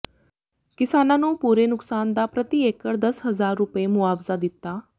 ਕਿਸਾਨਾਂ ਨੂੰ ਪੂਰੇ ਨੁਕਸਾਨ ਦਾ ਪ੍ਰਤੀ ਏਕੜ ਦਸ ਹਜ਼ਾਰ ਰੁਪਏ ਮੁਆਵਜ਼ਾ ਦਿੱਤਾ